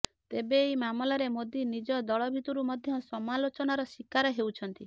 ଏବେ ଏହି ମାମଲାରେ ମୋଦି ନିଜ ଦଳ ଭିତରୁ ମଧ୍ୟ ସମାଲୋଚନାର ଶିକାର ହେଉଛନ୍ତି